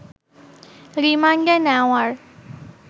রিমান্ডে নেওয়ার